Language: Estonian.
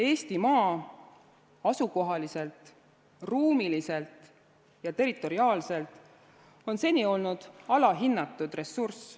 Eestimaa on asukohaliselt, ruumiliselt ja territoriaalselt seni olnud alahinnatud ressurss.